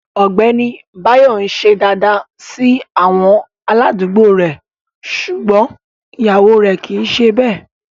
Ọgbẹni Báyọ̀ n sìṣẹ̀ dáadáa sí àwọn aládùgbò rè ṣúgbọn iyàwọ rè kìí ṣè bẹ.